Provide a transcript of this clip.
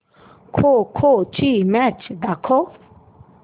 खो खो ची मॅच दाखव